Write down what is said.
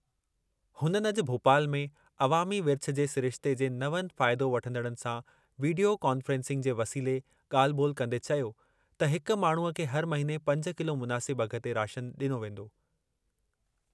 हुननि अॼु भोपाल में अवामी विर्छ जे सिरिश्ते जे नवनि फ़ाइदो वठंदड़नि सां वीडियो कान्फ़ेंसिंग जे वसीले ॻाल्हि ॿोल्हि कंदे चयो त हिक माण्हूअ खे हर महिने पंज किलो मुनासिब अघ ते राशन ॾिनो वेंदो।